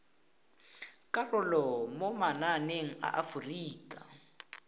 karolo mo mananeng a aforika